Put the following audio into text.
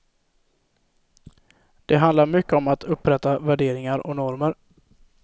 Det handlar mycket om att upprätta värderingar och normer.